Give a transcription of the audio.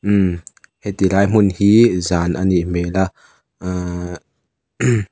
mm heti lai hmun hi zan a nih hmel a aaa--